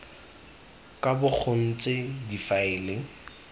ka bo go ntse difaele